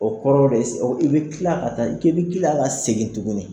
O kɔrɔ de ye sisan i bɛ tila ka ta k'i bi tila k'a segin tuguni,